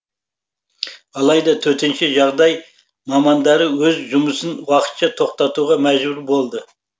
алайда төтенше жағдай мамандары өз жұмысын уақытша тоқтатуға мәжбүр болды